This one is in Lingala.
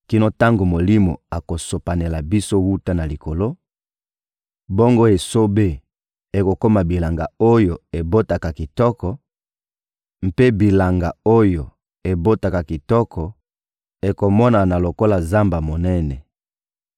kino tango Molimo akosopanela biso wuta na likolo, bongo esobe ekokoma bilanga oyo ebotaka kitoko; mpe bilanga oyo ebotaka kitoko ekomonana lokola zamba monene.